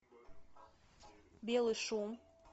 белый шум